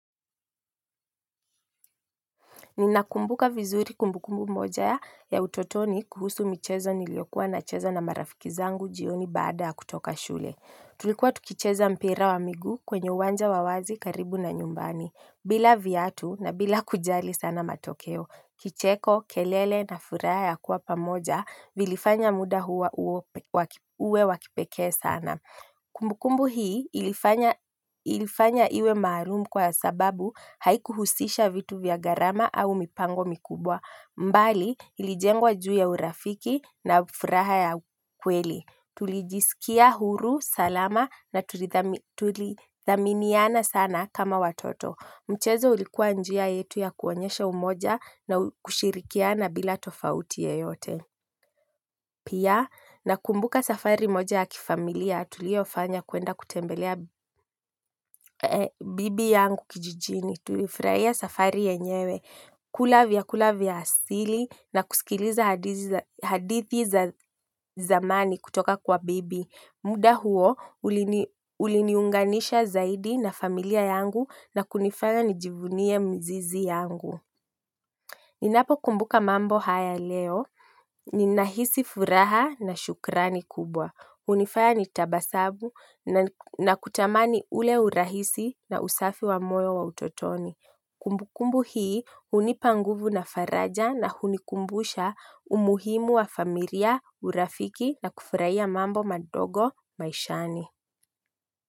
Ninakumbuka vizuri kumbukumbu moja ya utotoni kuhusu michezo nilio kuwa na cheza na marafiki zangu jioni baada ya kutoka shule. Tulikuwa tukicheza mpira wa miguu kwenye uwanja wa wazi karibu na nyumbani. Bila viatu na bila kujali sana matokeo. Kicheko, kelele na furaha ya kuwa pamoja vilifanya muda uwe wa kipeke sana. Kumbukumbu hii ilifanya iwe maalumu kwa sababu haikuhusisha vitu vya gharama au mipango mikubwa bali ilijengwa juu ya urafiki na furaha ya kweli tulijisikia huru salama na tuli tulithaminiana sana kama watoto mchezo ulikua njia yetu ya kuonyesha umoja na kushirikiana bila tofauti yoyote pia nakumbuka safari moja ya kifamilia, tuliofanya kwenda kutembelea bibi yangu kijijini, tulifurahia safari yenyewe kula vyakula vya asili na kusikiliza hadithi za zamani kutoka kwa bibi. Muda huo, uliniunganisha zaidi na familia yangu na kunifanya nijivunie mzizi yangu. Ninapo kumbuka mambo haya leo. Ninahisi furaha na shukrani kubwa. Hunifaya nitabasabu na kutamani ule urahisi na usafi wa moyo wa utotoni. Kumbukumbu hii hunipa nguvu na faraja na unikumbusha umuhimu wa familia urafiki na kufurahia mambo madogo maishani.